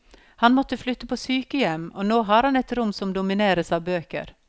Han måtte flytte på sykehjem, og nå har han et rom som domineres av bøker.